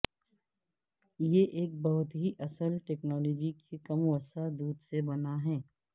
یہ ایک بہت ہی اصل ٹیکنالوجی کے کم وسا دودھ سے بنا ہے